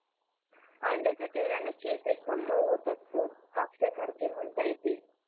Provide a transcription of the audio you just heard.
अंड्याच्या तेलाने केस एकदम मऊ होतात सर कापसा सारखे म्हणता येतील